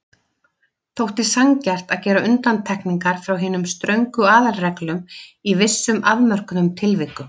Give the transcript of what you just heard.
Þótti sanngjarnt að gera undantekningar frá hinum ströngu aðalreglum í vissum afmörkuðum tilvikum.